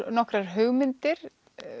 nokkrar hugmyndir